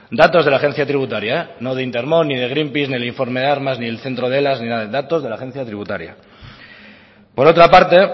datos de la agencia tributaria no de intermón ni de greenpeace ni el informe de armas ni el centro de ni nada datos de la agencia tributaria por otra parte